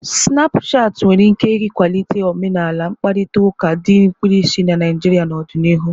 Snapushati nwere ike ịkwalite omenala mkparịta ụka dị mkpirisi na Naijria n'ọdịnihu.